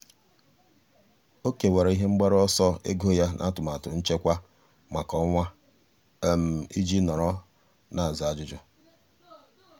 ọ́ kèwàrà ihe mgbaru ọsọ ego ya n’átụ́màtụ nchekwa kwa ọnwa iji nọ́rọ́ n’ázá ájụ́jụ́.